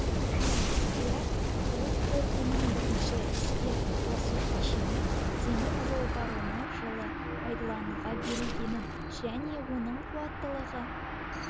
скляр құрық портының бірінші іске қосу кешені темір жол паромы жылы пайдалануға берілгенін және оның қуаттылығы